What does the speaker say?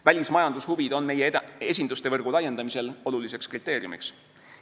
Välismajandushuvid on meie esinduste võrgu laiendamisel oluliseks kriteeriumiks.